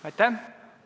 Aitäh!